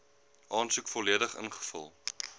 aansoek volledig ingevul